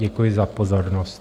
Děkuji za pozornost.